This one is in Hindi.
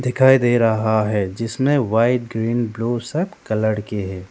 दिखाई दे रहा है जिसमें व्हाइट ग्रीन ब्लू सब कलर के हैं।